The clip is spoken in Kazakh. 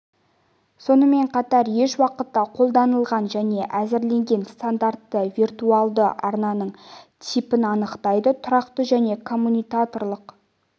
сонымен қатар еш уақытта қолданылмаған және әзірленген стандарттары виртуалды арнаның типін анықтайды тұрақты және коммутаторлық